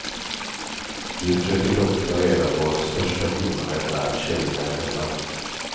Vi försöker dock ta reda på vad den största skillnaden är tjejerna emellan.